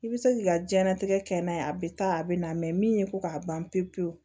I bɛ se k'i ka diɲɛnatigɛ kɛ n'a ye a bɛ taa a bɛ na min ye ko k'a ban pewu pewu